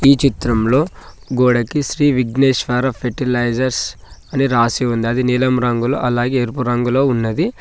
ఈ చిత్రంలో గోడకి శ్రీ విఘ్నేశ్వర ఫెర్టిలైజర్స్ అని రాసి ఉంది అది నీలం రంగులో అలాగే ఎరుపు రంగులో ఉన్నది.